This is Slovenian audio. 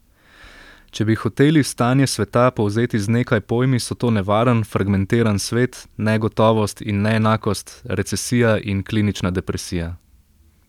Če bi hoteli stanje sveta povzeti z nekaj pojmi, so to nevaren, fragmentiran svet, negotovost in neenakost, recesija in klinična depresija.